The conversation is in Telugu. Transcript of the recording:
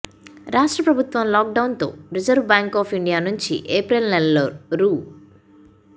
రాష్ట్ర ప్రభుత్వం లాక్డౌన్తో రిజర్వు బ్యాంకు ఆఫ్ ఇండియా నుంచి ఏప్రిల్ నెలలో రూ